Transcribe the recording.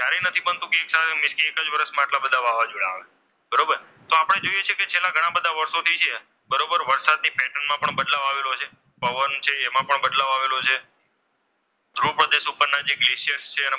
આવું નથી બનતું કે એક જ વર્ષમાં આટલા બધા વાવાઝોડા આવે. બરોબર. તો આપણે જોઈએ છીએ કે છેલ્લા ઘણા બધા વર્ષોથી છે બરોબર વરસાદથી પેટર્નમાં પણ બદલાવ આવેલો છે પવન છે એમાં પણ બદલાવ આવેલો છે, ધ્રુવ પ્રદેશ ઉપરના જે ગ્લેસીયર છે એમાં પણ,